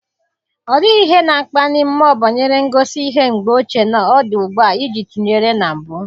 Ọ dịghị ihe na-akpali mmụọ banyere ngosi ihe mgbe ochie na ọ dị ugbu a iji tụnyere na mbụ.